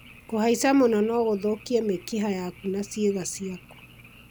kũhaica mũno no gũthũkie mĩkiha yaku na ciĩga ciaku